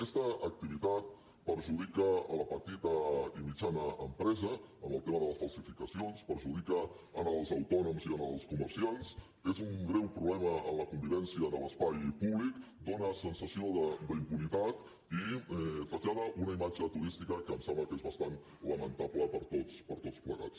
aquesta activitat perjudica la petita i mitjana empresa amb el tema de les falsificacions perjudica els autònoms i els comerciants és un greu problema en la convivència en l’espai públic dóna sensació d’impunitat i trasllada una imatge turística que em sembla que és bastant lamentable per a tots plegats